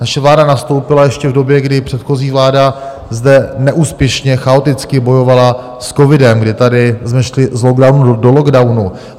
Naše vláda nastoupila ještě v době, kdy předchozí vláda zde neúspěšně, chaoticky bojovala s covidem, kdy jsme tady šli z lockdownu do lockdownu.